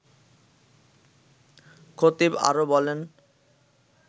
খতিব আরও বলেন